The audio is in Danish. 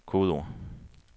kodeord